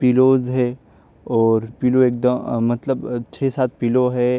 Pillows है और pillow एक दम अ मतलब छ सात पिलो है।